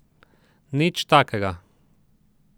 Nič takega.